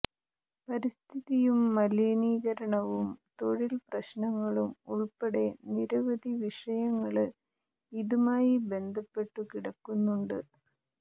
പരിസ്ഥിതിയും മലിനീകരണവും തൊഴില് പ്രശ്നങ്ങളും ഉള്പ്പെടെ നിരവധി വിഷയങ്ങള് ഇതുമായി ബന്ധപ്പെട്ടു കിടക്കുന്നുണ്ട്